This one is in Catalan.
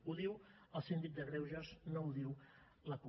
ho diu el síndic de greuges no ho diu la cup